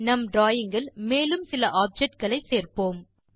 நம் டிராவிங் இல் மேலும் சில ஆப்ஜெக்ட்ஸ் சேர்ப்போம்